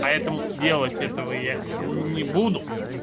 поэтому делать этого я не буду